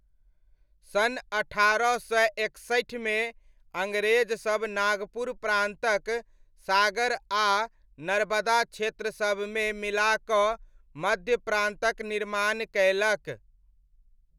सन् अट्ठारह सय एकसठिमे अङ्ग्रेजसब नागपुर प्रान्तक सागर आ नर्बदा क्षेत्रसबमे मिलाकऽ मध्य प्रान्तक निर्माण कयलक।